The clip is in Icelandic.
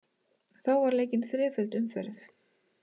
Þá var leikin þreföld umferð